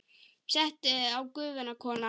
Settu á Gufuna, kona!